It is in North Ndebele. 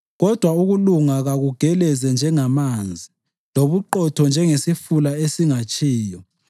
Kodwa ukulunga kakugeleze njengamanzi, lobuqotho njengesifula esingatshiyo!